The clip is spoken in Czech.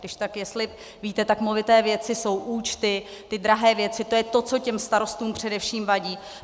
Kdyžtak, jestli víte, tak movité věci jsou účty, ty drahé věci, to je to, co těm starostům především vadí.